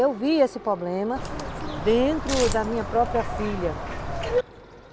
Eu vi esse problema dentro da minha própria filha.